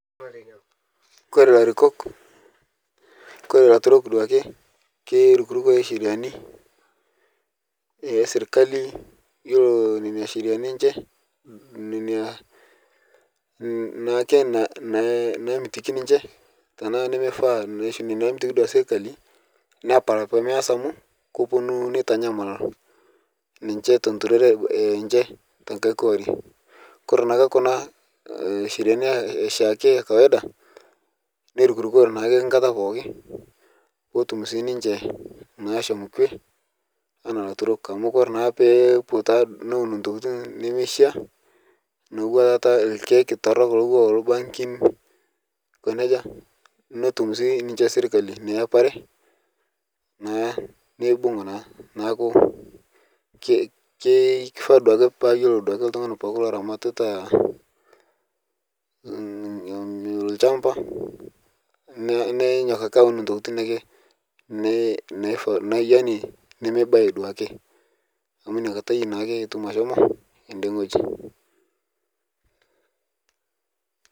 Ore ilaturok lee keirukuruka isheriani ee sirkali iyiolo nenasheriani enche naake naamitiki ninche tenaa nemeifa tiatu sirkali nepal pemeas amu keponu netanyamal ninche tenturore enche te kae kori kore naa ake kuna sheriannii oshii akee ee kawaida neirukuruko naake enkata pooki peetum sininche anaa ilaturrok amu oree naa peiputa intokiting' nemeisha nekuu etaa irkiek torrok loo irbankin netum sii ninche sirkali eneapare naa neibung' naa neeku keifa duake paa iyioli oltung'ani pookin laramatita ilo champa nenyok ake aen intokiting' nemeiba aduakii amu ina kata naa ake etum.